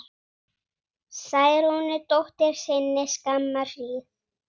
Særúnu dóttur sinni skamma hríð.